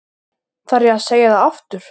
Þarf ég að segja það aftur?